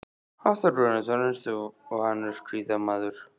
Hafþór Gunnarsson: Ertu vanur skíðamaður?